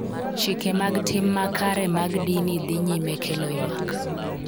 Chike mag tim makare mag dini dhi nyime kelo ywak